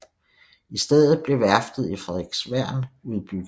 I stedet blev værftet i Frederiksværn udbygget